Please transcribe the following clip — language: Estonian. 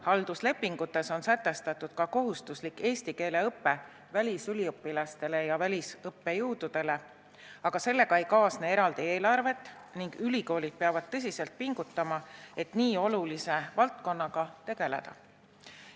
Halduslepingutes on sätestatud kohustuslik eesti keele õpe välisüliõpilastele ja välisõppejõududele, aga sellega ei kaasne eraldi eelarvet ning ülikoolid peavad tõsiselt pingutama, et nii olulise valdkonnaga tegeleda.